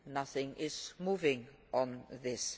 nothing is moving on this.